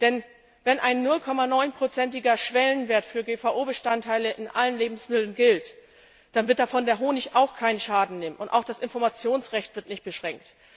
Denn wenn ein 0,9 prozentiger Schwellenwert für GVO Bestandteile in allen Lebensmitteln gilt, dann wird davon der Honig auch keinen Schaden nehmen, auch das Informationsrecht wird nicht beschränkt.